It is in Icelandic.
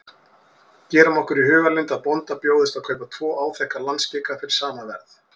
Gerum okkur í hugarlund að bónda bjóðist að kaupa tvo áþekka landskika fyrir sama verð.